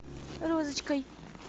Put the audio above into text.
розочкой